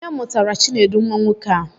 Onye mụtara Chinedu nwa nwoke a?